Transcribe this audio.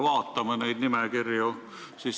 Vaatame neid nimekirju.